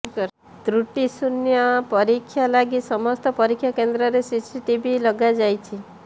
ତୃଟି ଶୂନ୍ୟ ପରୀକ୍ଷା ଲାଗି ସମସ୍ତ ପରୀକ୍ଷା କେନ୍ଦ୍ରରେ ସିସି ଟିଭି ଲଗାଯାଇଛି